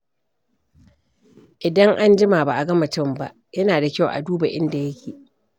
Idan an jima ba a ga mutum ba, yana da kyau a duba inda yake.